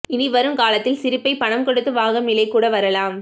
இனி வருங்காலத்தில் சிரிப்பை பணம் கொடுத்து வாங்கும் நிலை கூட வரலாம்